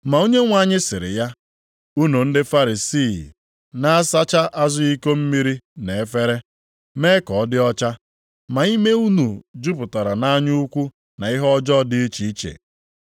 Ma Onyenwe anyị sịrị ya, “Unu ndị Farisii na-asacha azụ iko mmiri na efere, mee ka ọ dị ọcha, ma ime unu jupụtara nʼanya ukwu na nʼihe ọjọọ dị iche iche.